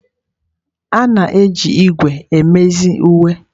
A na-eji ígwè emezi uwe.